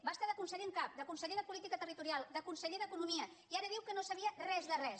va es·tar de conseller en cap de conseller de política ter·ritorial de conseller d’economia i ara diu que no en sabia res de res